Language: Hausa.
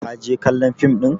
ka je kallon fim ɗin!